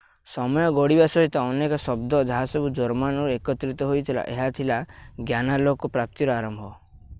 ସମୟ ଗଡିବା ସହିତ ଅନେକ ଶବ୍ଦ ଯାହାସବୁ ଜର୍ମାନରୁ ଏକତ୍ରିତ ହୋଇଥିଲା ଏହା ଥିଲା ଜ୍ଞାନାଲୋକ ପ୍ରାପ୍ତିର ଆରମ୍ଭ